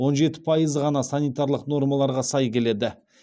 он жеті пайызы ғана санитарлық нормаларға сай келеді